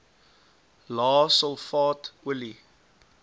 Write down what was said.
lae sulfaat olie